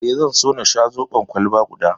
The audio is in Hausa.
Eh, zan so na sha zoɓon kwalba guda